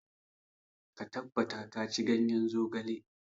Ka tabbata ka ci ganyen zogale.